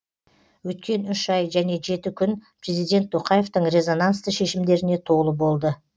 өткен үш ай және жеті күн президент тоқаевтың резонансты шешімдеріне толы болды